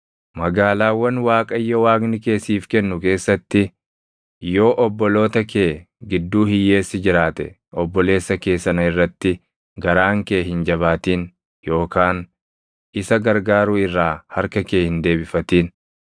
Magaalaawwan Waaqayyo Waaqni kee siif kennu keessatti yoo obboloota kee gidduu hiyyeessi jiraate obboleessa kee sana irratti garaan kee hin jabaatin yookaan isa gargaaruu irraa harka kee hin deebifatin.